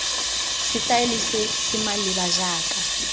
setaele se se maleba jaaka